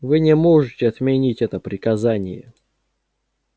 вы не можете отменить это приказание